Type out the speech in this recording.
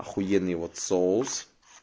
ахуенный вот соус